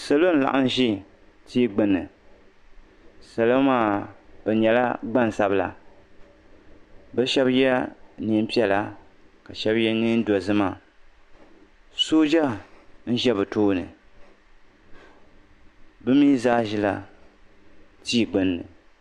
Salo n laɣim zi tia gbunni salo maa bi yɛla gbaŋ sabilla bi shɛba yiɛ nɛn piɛla ka shɛba yiɛ nɛn dozima sooja n za bi tooni bi mi zaa zila tia gbunni.